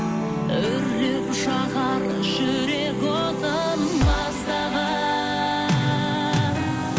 үрлеп жағар жүрек отын маздаған